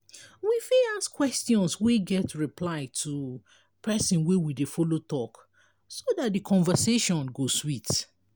we fit ask questions wey get reply to person wey we dey follow talk so dat di conversation go sweet